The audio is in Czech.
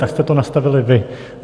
Tak jste to nastavili vy.